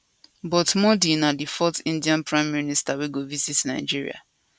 but modi na di fourth indian prime minister wey go visit nigeria